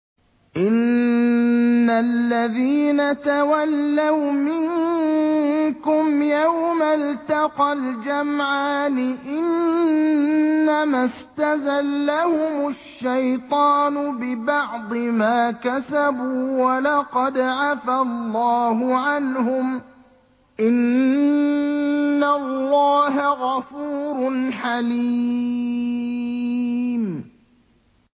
إِنَّ الَّذِينَ تَوَلَّوْا مِنكُمْ يَوْمَ الْتَقَى الْجَمْعَانِ إِنَّمَا اسْتَزَلَّهُمُ الشَّيْطَانُ بِبَعْضِ مَا كَسَبُوا ۖ وَلَقَدْ عَفَا اللَّهُ عَنْهُمْ ۗ إِنَّ اللَّهَ غَفُورٌ حَلِيمٌ